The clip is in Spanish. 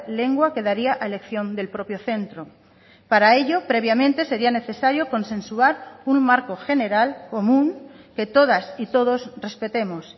lengua quedaría a elección del propio centro para ello previamente sería necesario consensuar un marco general común que todas y todos respetemos